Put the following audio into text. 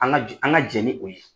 An ka jɛn an ka jɛn ni o ye.